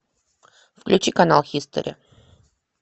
включи канал хистори